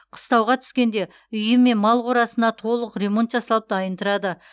қыстауға түскенде үйі мен мал қорасына толық ремонт жасалып дайын тұрады